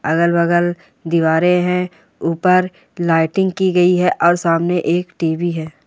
अगल-बगल दिवारे है ऊपर लाइटिंग कि गयी है और सामने एक टी.वी. है।